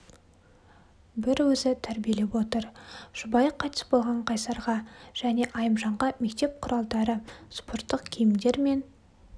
бір өзі тәрбиелеп отыр жұбайы қайтыс болған қайсарға және айымжанға мектеп құралдары спорттық киімдер мен